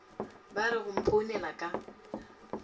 ba re go mphounela ka